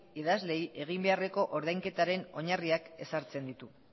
idazleen egin beharreko ordainketaren oinarriak ezartzen ditu